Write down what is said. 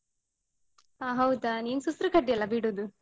ಆ ಹೌದಾ? ನೀನು ಸುಸ್ರು ಕಡ್ಡಿಯಲ್ಲ ಬಿಡುದು?